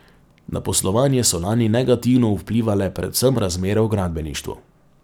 Na poslovanje so lani negativno vplivale predvsem razmere v gradbeništvu.